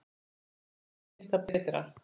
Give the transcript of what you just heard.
Mínum börnum finnst það betra.